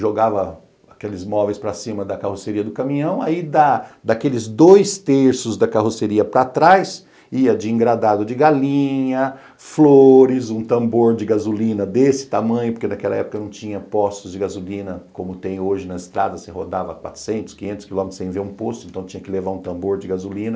jogava aqueles móveis para cima da carroceria do caminhão, aí daqueles dois terços da carroceria para trás ia de engradado de galinha, flores, um tambor de gasolina desse tamanho, porque naquela época não tinha postos de gasolina como tem hoje na estrada, você rodava quatrocentos, quinhentos quilômetros sem ver um posto, então tinha que levar um tambor de gasolina.